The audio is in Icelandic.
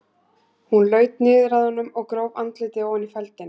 Hún laut niður að honum og gróf andlitið ofan í feldinn.